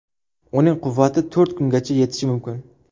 Uning quvvati to‘rt kungacha yetishi mumkin.